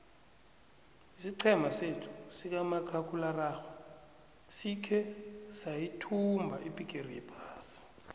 isiqhema sethu sikamakhakhulararhwe sikhe sayithumba ibhigiri yephasi